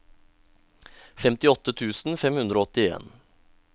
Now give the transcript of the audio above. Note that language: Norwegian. femtiåtte tusen fem hundre og åttien